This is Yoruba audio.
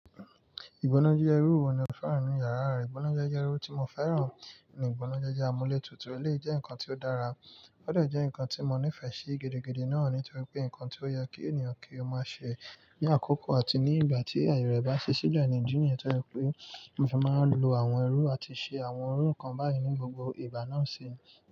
Ìgbónájeje iruwò ni o fẹ́ràn nínu yàrá rẹ? Ìgbónájeje ti mo fẹ́ràn ni ìgbónájeje amúle tútù. Eléyìí jẹ́ nnkan ti o dára, ó de jẹ́ nnkan ti mo nífẹ̀ẹ́ sí gidi gan-an nítorí pé nnkan ti o yẹ kí ènìyàn kí o má ṣe ní àkókò àti ní ìgbà tí aye rẹ ba ṣile idi níyẹn. Nítorí pé mo fi máa n lo àwọn ẹrú àti ṣe àwọn irú nǹkan báyìí ní gbogbo ìgbà náà sì ni.